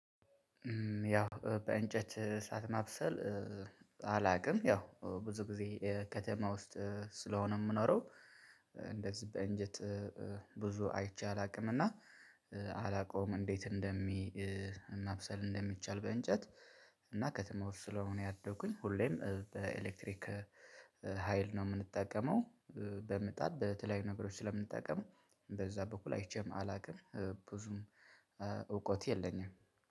ያው በእንጨት እሳት ማብሰል። በጣ አላውቅም ያው ብዙ ጊዜ ከተማ ውስጥ ስለሆነ የምኖረው። እንደዚህ በእንጨት ብዙ አይቼ አላውቅም። እና አላውቀውም እንዴት እንደሚ ማብሰል እንደሚቻል በእንጨት። እና ከተማ ውስጥ ስለሆነ ያደግኩኝ ሁሌም በኤሌክትሪክ ሀይል ነው የምንጠቀመው። በምጣድ በተለያዩ ነገሮች ስለምንጠቀም በዛ በኩል አይቼም አላውቅም። ብዙም እውቀቱ የለኝም።